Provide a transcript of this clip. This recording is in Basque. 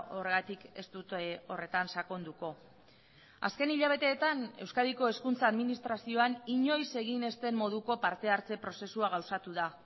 horregatik ez dut horretan sakonduko azken hilabeteetan euskadiko hezkuntza administrazioan inoiz egin ez den moduko partehartze prozesua gauzatu da